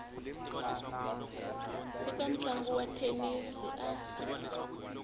eka ntlangu wa thenisi a